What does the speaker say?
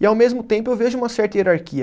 E ao mesmo tempo eu vejo uma certa hierarquia.